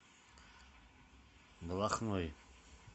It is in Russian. балахной